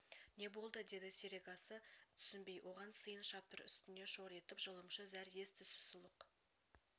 не болды деді серегасы түсінбей оған сиын шаптыр үстіне шор етіп жылымшы зәр ес-түссіз сұлық